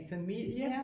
Familie